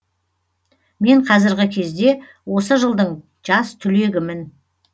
мен қазіргі кезде осы жылдың жас түлегімін